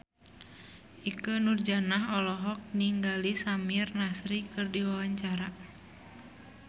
Ikke Nurjanah olohok ningali Samir Nasri keur diwawancara